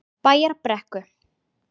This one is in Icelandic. Bæjarbrekku